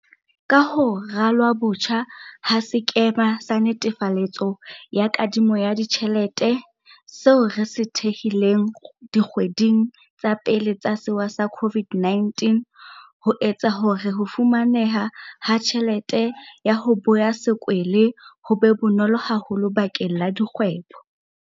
Ka ho ralwa botjha ha sekema sa netefaletso ya kadimo ya ditjhelete, seo re se thehileng dikgweding tsa pele tsa sewa sa COVID-19, ho etsa hore ho fumaneha ha tjhelete ya ho boya sekwele ho be bonolo haholo bakeng la dikgwebo.